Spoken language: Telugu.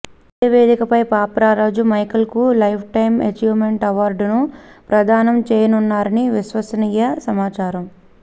ఇదే వేదికపై పాప్ రారాజు మైఖేల్ కు లైఫ్ టైమ్ అచీవ్ మెంట్ అవార్డును ప్రధానం చెయ్యనున్నారని విశ్వసనీయ సమాచారం